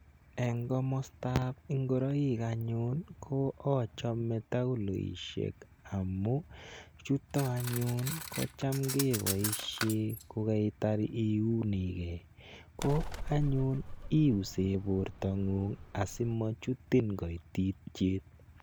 Eng' komasta ap ngoroik anyun ko achame taguloishek amu chuto anyun ko cham kepoishe ko kaitar iuni gei. Ko anyun iuse portang'ung' asimachutin kaititiet.